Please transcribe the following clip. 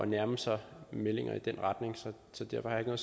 nærme sig meldinger i den retning derfor har